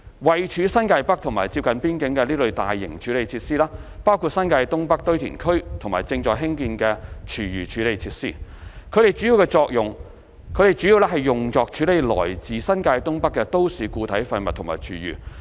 位處新界北接近邊境的這類大型處理設施包括新界東北堆填區和正在興建的廚餘處理設施，它們主要用作處理來自新界東北的都市固體廢物和廚餘。